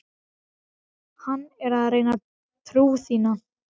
Hann er að reyna trú þína.